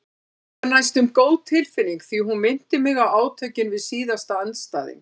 Reyndar næstum góð tilfinning því hún minnti mig á átökin við síðasta andstæðing.